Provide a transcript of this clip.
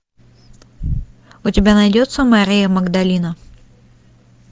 у тебя найдется мария магдалина